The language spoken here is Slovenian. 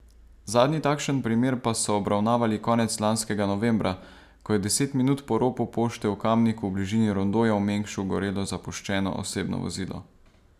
Zadnji takšen primer pa so obravnavali konec lanskega novembra, ko je deset minut po ropu pošte v Kamniku v bližini rondoja v Mengšu gorelo zapuščeno osebno vozilo.